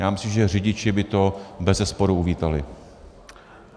Já myslím, že řidiči by to bezesporu uvítali.